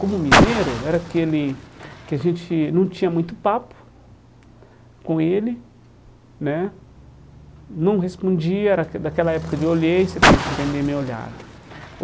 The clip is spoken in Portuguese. Como mineiro, era aquele que a gente não tinha muito papo com ele né, não respondia, era da daquela época de olhei, você tem que entender meu olhar.